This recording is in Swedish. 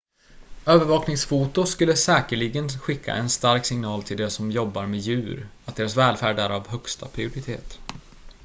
"""övervakningsfoto skulle säkerligen skicka en stark signal till de som jobbar med djur att deras välfärd är av högsta prioritet.""